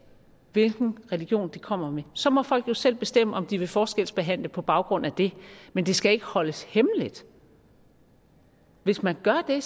hvilken religion de kommer med så må folk jo selv bestemme om de vil forskelsbehandle på baggrund af det men det skal ikke holdes hemmeligt hvis man gør det